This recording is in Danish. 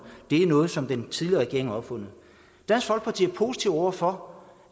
det er noget som den tidligere regering har opfundet dansk folkeparti er positive over for